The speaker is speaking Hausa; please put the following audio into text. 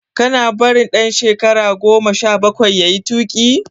Kana barin dan shekara goma sha bakwai yayi tuki?